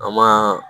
An ma